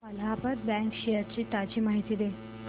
Allahabad bank shares ची ताजी माहिती दे